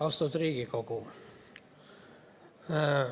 Austatud Riigikogu.